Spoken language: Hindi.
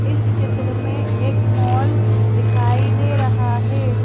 इस चित्र में एक मॉल दिखाई दे रहा है।